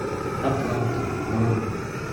атланта бронь